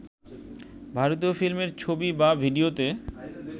ভারতীয় ফিল্মের ছবি বা ভিডিওতে